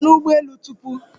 Ị nọ n'ụgbọ elu tupu?